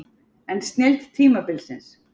En snilld tímabilsins?